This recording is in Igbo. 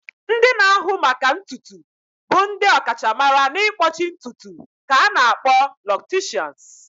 Ndị na-ahụ maka ntutu bụ ndị ọkachamara n'ịkpọchi ntutu ka a na-akpọ locticians.